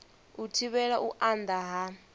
u thivhela u anda ha